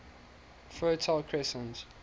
fertile crescent